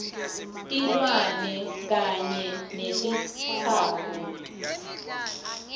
tilwane kanye netitsako